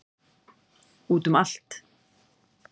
Út um allt.